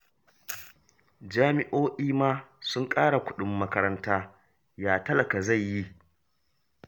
Jami'o'i ma sun ƙara kuɗin makaranta, ya talaka zai yi?